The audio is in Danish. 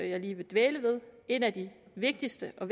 jeg lige vil dvæle ved en af de vigtigste og